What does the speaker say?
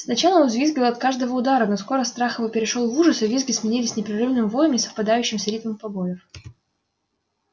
сначала он взвизгивал от каждого удара но скоро страх его перешёл в ужас и визги сменились непрерывным воем не совпадающим с ритмом побоев